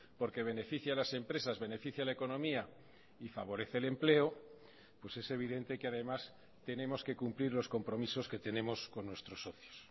porque beneficia a las empresas beneficia a la economía y favorece el empleo pues es evidente que además tenemos que cumplir los compromisos que tenemos con nuestros socios